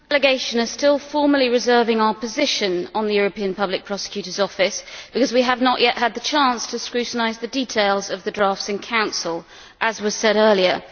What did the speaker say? Madam President, our delegation is still formally reserving its position on the European Public Prosecutor's office because we have not yet had the chance to scrutinise the details of the drafts in Council, as was said earlier.